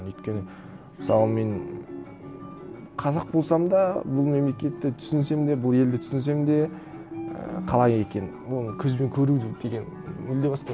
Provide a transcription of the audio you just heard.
өйткені мысалы мен қазақ болсам да бұл мемлекетті түсінсем де бұл елді түсінсем де і қалай екен ну көзбен көру деген мүлде басқа